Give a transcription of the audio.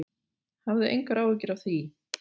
Hafðu engar áhyggjur af því.